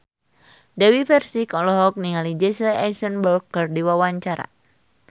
Dewi Persik olohok ningali Jesse Eisenberg keur diwawancara